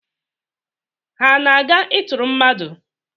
Ha ana-aga ịtụrụ mmadụ?